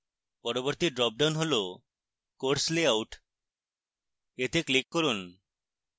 পরবর্তী drop down হল course layout এতে click করুন